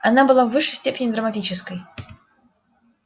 она была в высшей степени драматической